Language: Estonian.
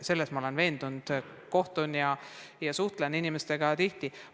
Selles ma olen veendunud, ma suhtlen inimestega tihti.